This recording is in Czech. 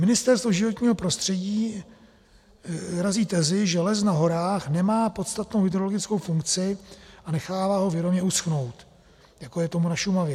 Ministerstvo životního prostředí razí tezi, že les na horách nemá podstatnou hydrologickou funkci, a nechává ho vědomě uschnout, jako je tomu na Šumavě.